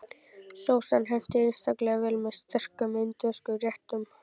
Sósan hentar einstaklega vel með sterkum indverskum réttum.